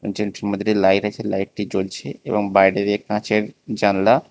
মধ্যে লাইট আছে লাইটি জ্বলছে এবং বাইরে দিয়ে কাঁচের জানলা।